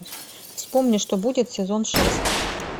вспомни что будет сезон шесть